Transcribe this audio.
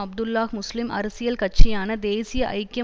அப்துல்லாஹ் முஸ்லிம் அரசியல் கட்சியான தேசிய ஐக்கிய